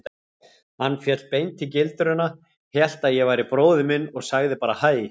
Hann féll beint í gildruna, hélt að ég væri bróðir minn og sagði bara hæ.